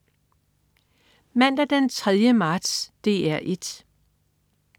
Mandag den 3. marts - DR 1: